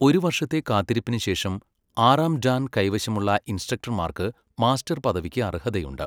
ഒരു വർഷത്തെ കാത്തിരിപ്പിന് ശേഷം, ആറാം ഡാൻ കൈവശമുള്ള ഇൻസ്ട്രക്ടർമാർക്ക് മാസ്റ്റർ പദവിക്ക് അർഹതയുണ്ട്.